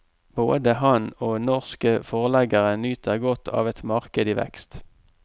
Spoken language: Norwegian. Både han og norske forleggere nyter godt av et marked i vekst.